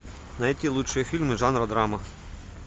найти лучшие фильмы жанра драма